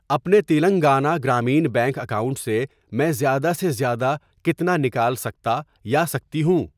اپنے Telangana Grameen bank account سے میں زیادہ سے زیادہ کتنا نکال سکتا یا سکتی ہوں؟